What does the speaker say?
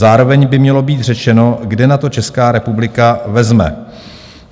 Zároveň by mělo být řečeno, kde na to Česká republika vezme.